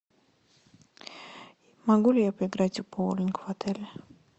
могу ли я поиграть в боулинг в отеле